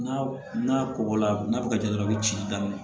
N'a kɔgɔla n'a bɛ kɛ dɔrɔn i bɛ ci daminɛ